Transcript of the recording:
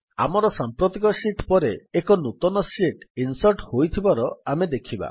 ଆମର ସାମ୍ପ୍ରତିକ ଶୀଟ୍ ପରେ ଏକ ନୂତନ ଶୀଟ୍ ଇନ୍ସର୍ଟ୍ ହୋଇଥିବାର ଆମେ ଦେଖିବା